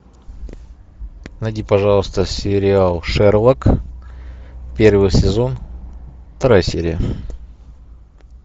найди пожалуйста сериал шерлок первый сезон вторая серия